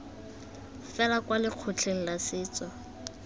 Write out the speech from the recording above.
fela kwa lekgotleng la setso